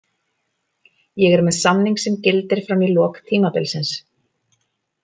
Ég er með samning sem gildir fram í lok tímabilsins.